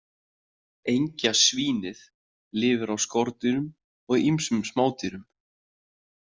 Engjasvínið lifir á skordýrum og ýmsum smádýrum.